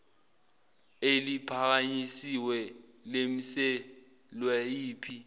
eliphakanyisiwe limiselwe yiphi